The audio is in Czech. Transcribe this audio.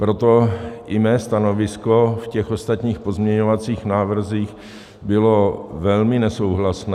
Proto i mé stanovisko v těch ostatních pozměňovacích návrzích bylo velmi nesouhlasné.